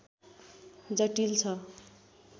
जटिल छ